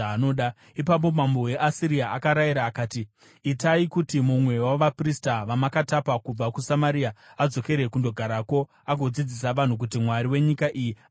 Ipapo mambo weAsiria akarayira akati, “Itai kuti mumwe wavaprista vamakatapa kubva kuSamaria adzokere kunogarako agodzidzisa vanhu kuti mwari wenyika iyi anodei.”